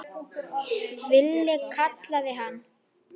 Villi kallaði hann.